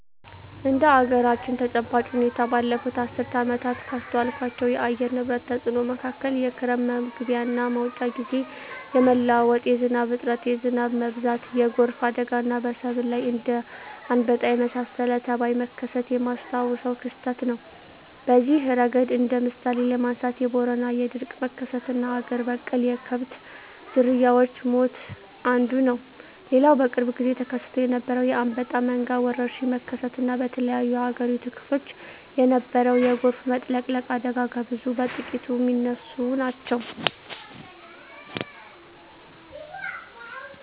እንደ አገራችን ተጨባጭ ሁኔታ ባለፋት አስርት ዓመታት ካስተዋልኳቸው የአየር ንብረት ተጽኖ መካከል የክረም መግቢያና መውጫ ግዜ የመለዋወጥ፣ የዝናብ እጥረት፣ የዝናብ መብዛት፣ የጎርፍ አደጋና በሰብል ላይ እንደ አንበጣ የመሳሰለ ተባይ መከሰት የማስታውሰው ክስተት ነው። በዚህ እረገድ እንደ ምሳሌ ለማንሳት የቦረና የድርቅ መከሰትና አገር በቀል የከብት ዝርያወች ሞት አንዱ ነው። ሌላው በቅርብ ግዜ ተከስቶ የነበረው የአንበጣ መንጋ ወረርሽኝ መከሰት እና በተለያዮ የአገሪቱ ክፍሎች የነበረው የጎርፍ መጥለቅለቅ አደጋ ከብዙ በጥቂቱ ሚነሱ ናቸው።